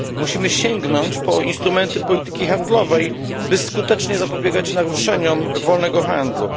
Musimy sięgnąć po instrumenty polityki handlowej, by skutecznie zapobiegać naruszeniom wolnego handlu.